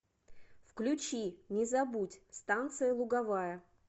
включи не забудь станция луговая